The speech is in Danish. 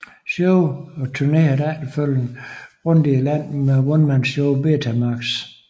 Show og turnerede efterfølgende rundt i landet med onemanshowet Betamax